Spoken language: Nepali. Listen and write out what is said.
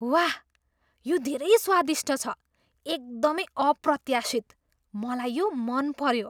वाह! यो धेरै स्वादिष्ट छ, एकदमै अप्रत्याशित। मलाई यो मन पऱ्यो।